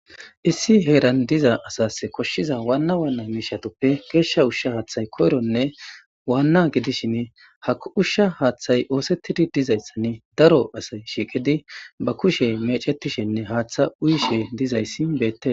issi heeran diza asas koshshiza waanna waanna miishatuppe geeshsha ushsha haaththay koyronne waanna gidishin ha ushsha haaththay oosettidi dizayssan daro asay shiiqidi ba kushe mecetishenne haaththa uyishe dizayssi beette